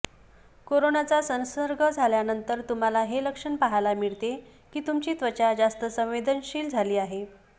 कोरोनाचा संसर्ग झाल्यानंतर तुम्हाला हे लक्षण पाहायला मिळते की तुमची त्वचा जास्त संवेदनशील झाली आहे